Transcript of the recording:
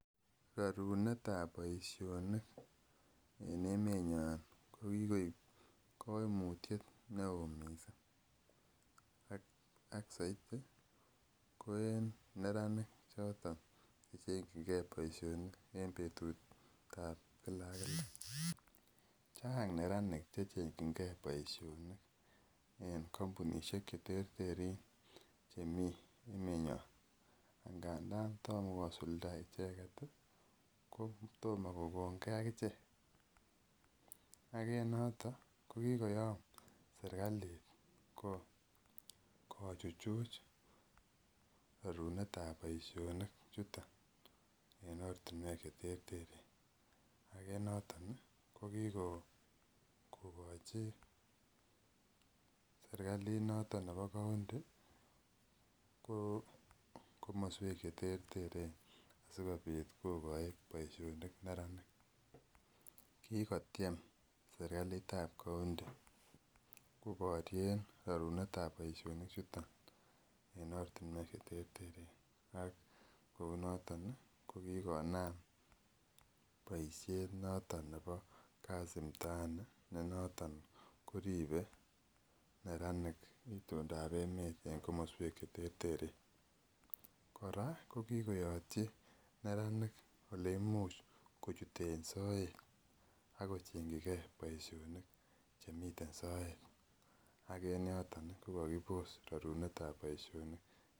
Rarunetab boisionik en emeet nyon kokikoek ko kikoek kaimutiet neoo missing. Kot saiti en neranik choton checheng chi ke boisiet. Betutab Kila ak kila. Chang neranik checheng chi ke boisionik en kampunisiek cheteeren chemi emet nyon. Ndab tomkosulda icheket ih, kotom kokonge akichek. Ak en noto kokikoyom serkalit kochuchuch rarunetab boisionik chuton en ortinuek cheterteren. Ak en noton kikokochi serkalit nato nebo county ih kakmasuek cheterteren asikobit kokachi boisionik neranik. Kokotiem serkalitab county kobaryen rarunetab boisionik chuton ak kou noton ih ko kikonaam boisiet noton nebo kazi mtahani koribke neranik itondab emeet en kakmasuek cheterteren kora ko kikoyatyi neranik oleimuch kochuton soet ak kocheng'chige boisionik chemiten soet. Ak en yoto kokakibos rarunetab boisionik.